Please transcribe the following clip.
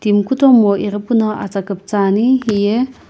mi kutomo ighi puno atsa kuptsani hiye.